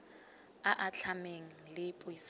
a a atlhameng le puisano